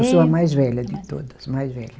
Eu sou a mais velha de todas, mais velha.